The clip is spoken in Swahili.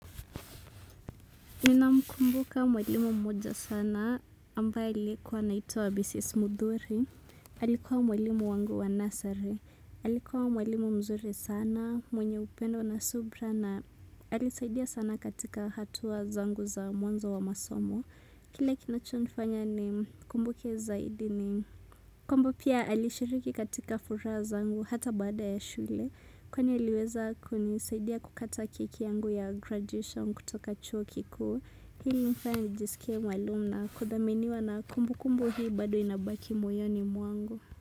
Nuna mkumbuka mwelimu mmoja sana ambaye ilikuwa naituwa bisis mudhuri. Alikuwa mwelimu wangu wa nasari. Alikuwa mwelimu mzuri sana, mwenye upendo na subra na alisaidia sana katika hatuwa zangu za mwanza wa masomo. Kile kinachonifanya ni kumbuke zaidi ni kumbu pia alishiriki katika fura zangu hata bada ya shule. Kwenye aliweza kunisaidia kukata keki yangu ya graduation kutoka cho kikuu hili mfanya nijisike malumna kudameniwa na kumbu kumbu hii badu inabaki moyo ni muangu.